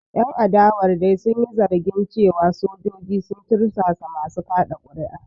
Ƴan adawar dai sun yi zargin cewa sojoji sun tursasa masu kaɗa kuri’a.